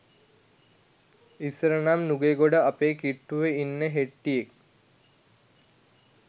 ඉස්සර නම් නුගේගොඩ අපේ කිට්ටුව ඉන්න හෙට්ටියෙක්